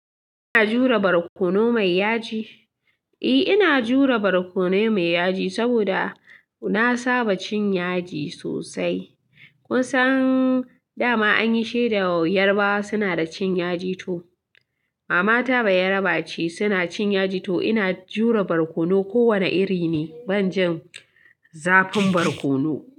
Ina jure barkono mai yaji. Eh ina jure barkono mai yaji saboda na saba cin yaji sosai. Kun san dama anyi sheda yarbawa suna da cin yaji to. Mama ta bayaraba ce suna cin yaji to ina jure barkono ko wane iri ne. Ban jin zafin barkono.